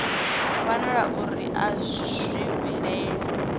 wanala uri a zwi vhilei